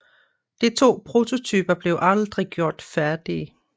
De to prototyper blev aldrig gjort færdige